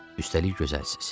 Üstəlik gözəlsiniz.